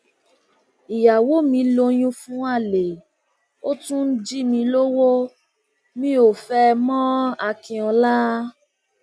ìyàwó mi lóyún fún àlè ó tún ń jí mi lọwọ mi ò fẹ ẹ mọakinlọla